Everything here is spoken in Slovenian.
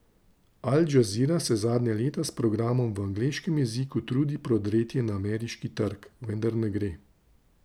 Al Džazira se zadnja leta s programom v angleškem jeziku trudi prodreti na ameriški trg, vendar ne gre.